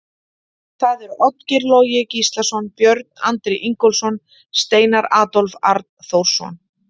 Það eru Oddgeir Logi Gíslason, Björn Andri Ingólfsson, Steinar Adolf Arnþórsson.